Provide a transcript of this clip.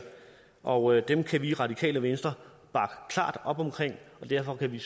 og dem kan vi i radikale venstre bakke klart op om og derfor kan vi